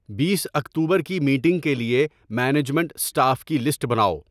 بیس اکتوبر کی میٹنگ کے لیے مینیجمنٹ سٹاف کی لسٹ بناؤ